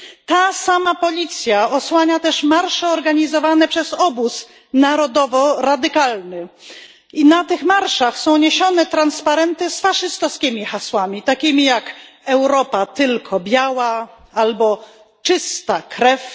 Ta sama policja osłania też marsze organizowane przez Obóz Narodowo Radykalny i na tych marszach są niesione transparenty z faszystowskimi hasłami takimi jak Europa tylko biała albo Czysta krew.